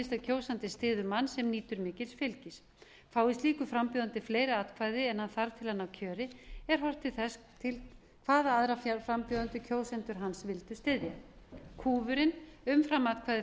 sama gerist ef kjósandinn styður mann sem nýtur mikils fylgis fái slíkur frambjóðandi fleiri atkvæði en hann þarf til að ná kjöri er horft til þess hvaða aðra frambjóðendur kjósendur hans vildu styðja kúfurinn umframatkvæði